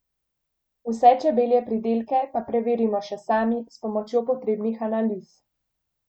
Vse čebelje pridelke pa preverimo še sami s pomočjo potrebnih analiz.